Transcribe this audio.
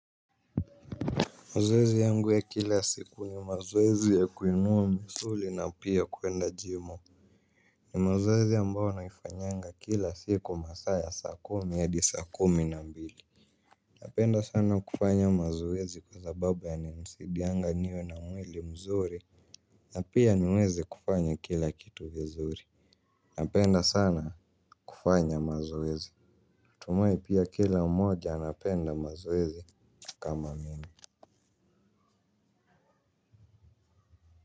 Mazwezi yangu ya kila siku ni mazwezi ya kuinua msuli na pia kuenda jimo. Ni mazozi ambao naifanyanga kila siku masa ya saa kumi ya adi saa kumi na mbili. Napenda sana kufanya mazwezi kwa zababa ya ni msidianga niwe na mweli mzuri. Napia niwezi kufanya kila kitu vizuri. Napenda sana kufanya mazwezi. Tumoi pia kila moja anapenda mazwezi kama mini Muzika.